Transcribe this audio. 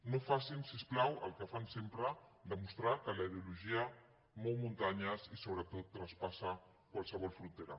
no facin si us plau el que fan sempre demostrar que la ideologia mou muntanyes i sobretot traspassa qualsevol frontera